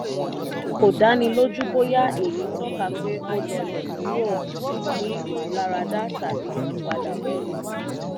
kò dánilójú bóyá èyí tọ́ka pé ó lọ́lẹ̀ kúrò ó ní ìmúláradá tàbí ìpadàbọ̀.